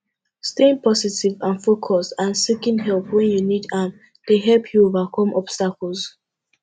staying positive and focused and seeking help when you need am dey help you overcome obstacles